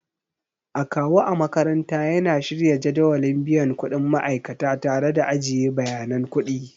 Akawu a makaranta yana shirya jadawalin biyan kuɗin ma'aikata tare da ajiye bayanan kuɗi.